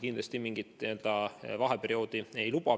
Kindlasti me mingit n-ö vaheperioodi ei luba.